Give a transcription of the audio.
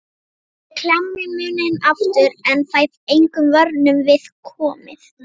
Ég klemmi munninn aftur en fæ engum vörnum við komið.